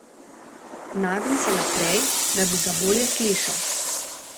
Nagne se naprej, da bi ga bolje slišal.